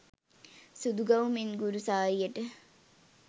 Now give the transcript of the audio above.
සුදු ගවුමෙන් ගුරු සාරියට